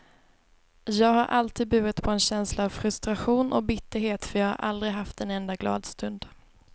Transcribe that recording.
Jag har alltid burit på en känsla av frustration och bitterhet för jag har aldrig haft en enda glad stund.